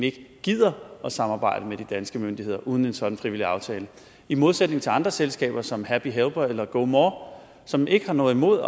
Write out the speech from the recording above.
ikke gider at samarbejde med de danske myndigheder uden en sådan frivillig aftale i modsætning til andre selskaber som happy helper eller gomore som ikke har noget imod